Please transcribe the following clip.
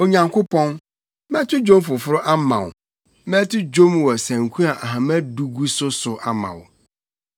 Onyankopɔn, mɛto dwom foforo ama wo; mɛto dwom wɔ sanku a ahama du gu so so ama wo,